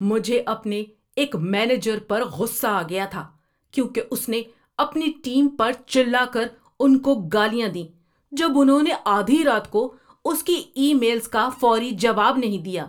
مجھے اپنے ایک مینیجر پر غصہ آ گیا تھا کیونکہ اس نے اپنی ٹیم پر چلا کر ان کو گالیاں دیں جب انہوں نے آدھی رات کو اس کی ای میلز کا فوری جواب نہیں دیا۔